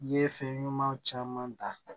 I ye fɛn ɲuman caman ta